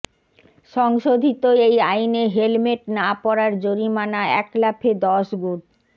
সংশোধিত এই আইনে হেলমেট না পরার জরিমানা এক লাফে দশ গুণ